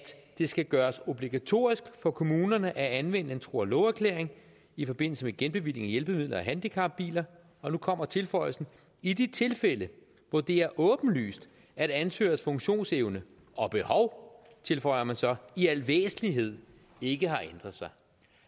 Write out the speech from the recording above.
det skal gøres obligatorisk for kommunerne at anvende en tro og love erklæring i forbindelse med genbevilling af hjælpemidler og handicapbiler og nu kommer tilføjelsen i de tilfælde hvor det er åbenlyst at ansøgers funktionsevne og behov tilføjer man så i al væsentlighed ikke har ændret sig